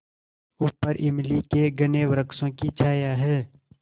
ऊपर इमली के घने वृक्षों की छाया है